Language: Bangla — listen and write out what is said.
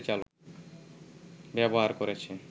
ব্যবহার করেছে